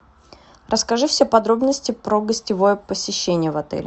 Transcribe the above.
расскажи все подробности про гостевое посещение в отеле